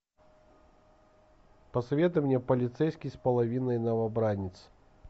посоветуй мне полицейский с половиной новобранец